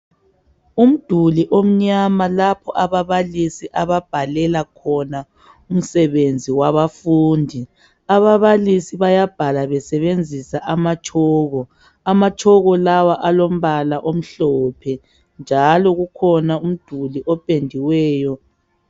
Umduli omnyama lapho ababalisi ababhalela khona umsebenzi wabafundi ababalisi bayabhala besebenzisa ama chalk, ama chalk lawa alombala omhlophe njalo kukhona umduli opendiweyo.